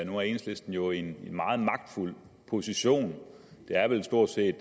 nu er enhedslisten jo i en meget magtfuld position det er vel stort set